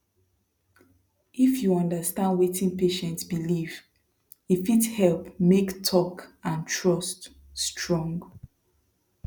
if you understand wetin patient believe e fit help make talk and trust strong